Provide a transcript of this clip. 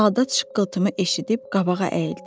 Saldat şıqqıltımı eşidib qabağa əyildi.